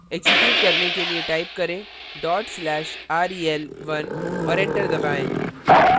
execute करने के लिए type करें /rel1 और enter दबाएँ